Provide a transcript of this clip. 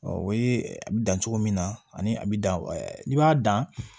o ye a bi dan cogo min na ani a bi dan n'i b'a dan